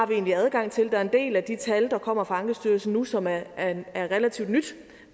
vi egentlig har adgang til der er en del af de tal der kommer fra ankestyrelsen nu som er relativt nye